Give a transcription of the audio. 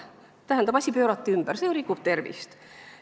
Tähendab, asi pöörati ümber, see ju rikub tervist.